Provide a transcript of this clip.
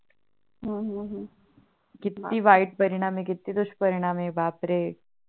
किती वाईट परिणाम आहे किती दुश परिणाम आहे बापरे